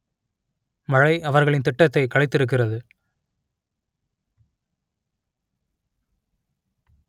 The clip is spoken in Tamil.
மழை அவர்களின் திட்டத்தை கலைத்திருக்கிறது